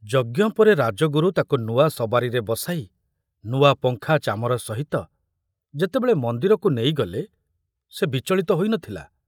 ଯଜ୍ଞ ପରେ ରାଜଗୁରୁ ତାକୁ ନୂଆ ସବାରିରେ ବସାଇ ନୂଆ ପଙ୍ଖା ଚାମର ସହିତ ଯେତେବେଳେ ମନ୍ଦିରକୁ ନେଇଗଲେ ସେ ବିଚଳିତ ହୋଇ ନଥିଲା।